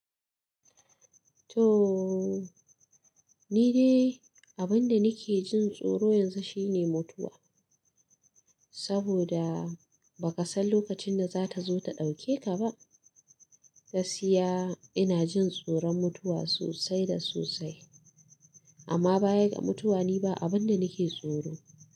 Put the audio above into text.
Toh ni dai abinda nake jin tsoro yanzu shine mutuwa saboda ba ka san lokacin da za ta zo ta ɗauke ka ba. Gaskiya ina jin tsoron mutuwa sosai da sosai amma baya ga mutuwa ni ba abin da nake tsoro.